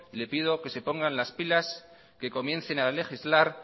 le pido que se pongan las pilas que comiencen a legislar